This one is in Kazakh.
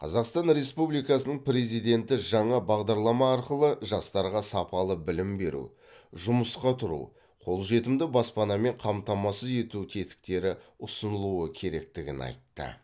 қазақстан республикасының президенті жаңа бағдарлама арқылы жастарға сапалы білім беру жұмысқа тұру қолжетімді баспанамен қамтамасыз ету тетіктері ұсынылуы керектігін айтты